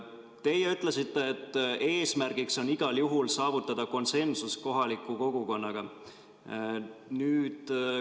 Teie ütlesite, et eesmärk on igal juhul saavutada konsensus kohaliku kogukonnaga.